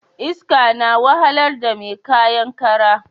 Iska na wahalar da mai kayan kara